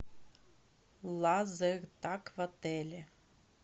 лазертаг в отеле